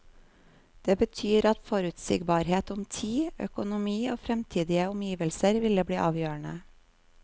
Det betyr at forutsigbarhet om tid, økonomi og fremtidige omgivelser ville bli avgjørende.